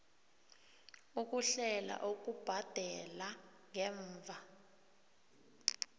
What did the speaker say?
ukuhlela ukubhadela ngemva